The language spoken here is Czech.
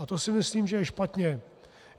A to si myslím, že je špatně.